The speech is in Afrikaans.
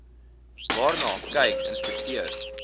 waarna kyk inspekteurs